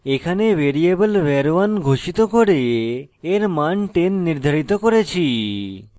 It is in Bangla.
এখানে একটি ভ্যারিয়েবল var1 ঘোষিত করে এর মান 10 নির্ধারিত করেছি